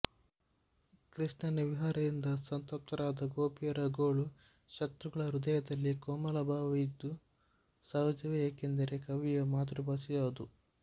ಕೃಷ್ಣನ ವಿರಹದಿಂದ ಸಂತಪ್ತರಾದ ಗೋಪಿಯರ ಗೋಳು ಶ್ರೋತೃಗಳ ಹೃದಯದಲ್ಲಿ ಕೋಮಲ ಭಾವ ಇದು ಸಹಜವೇ ಏಕೆಂದರೆ ಕವಿಯ ಮಾತೃಭಾಷೆ ಅದು